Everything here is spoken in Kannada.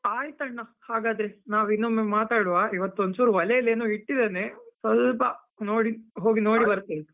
ಆಯ್ತಣ್ಣ, ಹಾಗಾದ್ರೆ ನಾವ್ ಇನ್ನೊಮ್ಮೆ ಮಾತಾಡುವ, ಇವತ್ತು ಒಂದ್ಚೂರು ಒಲೆಲ್ಲೇನೋ ಇಟ್ಟಿದ್ದೇನೆ ಸ್ವಲ್ಪ ನೋಡಿ ಹೋಗಿ ನೋಡಿ ಬರ್ತೇನೆ.